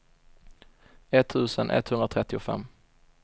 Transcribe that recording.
etttusen etthundratrettiofem